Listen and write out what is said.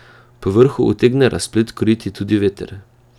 Povrhu utegne razplet krojiti tudi veter.